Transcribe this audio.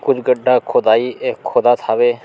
कुछ गड्ढा खोदाई खोदत हावे।